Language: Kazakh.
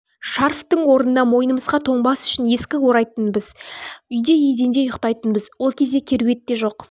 шарфтың орнына мойнымызға тоңбас үшін ескі орайтынбыз үйде еденде ұйықтайтынбыз ол кезде кереуетте жоқ